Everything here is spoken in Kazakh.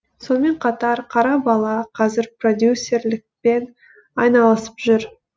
сонымен қатар қара бала қазір продюсерлікпен айналысып жүр